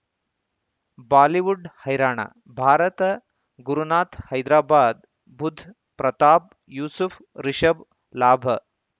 Bollywood ಹೈರಾಣ ಭಾರತ ಗುರುನಾಥ್ ಹೈದರಾಬಾದ್ ಬುಧ್ ಪ್ರತಾಪ್ ಯೂಸುಫ್ ರಿಷಬ್ ಲಾಭ